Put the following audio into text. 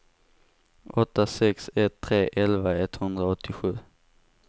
åtta sex ett tre elva etthundraåttiosju